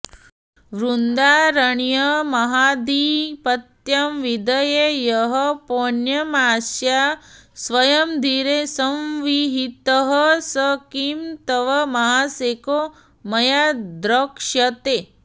वृन्दारण्यमहाधिपत्यविधये यः पौर्णमास्या स्वयं धीरे संविहितः स किं तव महासेको मया द्रक्ष्यते